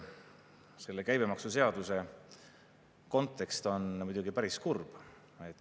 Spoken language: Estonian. Selle käibemaksuseaduse kontekst on muidugi päris kurb.